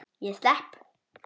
Ég slepp.